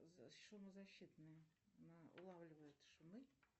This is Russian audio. шумозащитные улавливают шумы